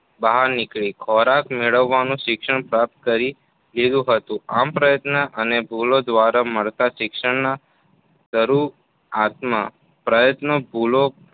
બહાર નીકળી, ખોરાક મેળવવા શિક્ષણ પ્રાપ્ત કરી લીધું હતું આમ પ્રયત્ન અને ભૂલો દ્વારા મળતા શિક્ષણ માં શરૂઆત ના પ્રયત્નોમાં ભૂલો